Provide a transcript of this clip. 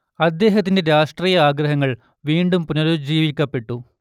അദ്ദേഹത്തിന്റെ രാഷ്ട്രീയാഗ്രഹങ്ങൾ വീണ്ടും പുനരുജ്ജീവിക്കപ്പെട്ടു